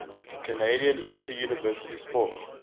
canadian interuniversity sport